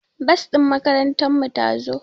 Bas ɗin makarantar mu ta zo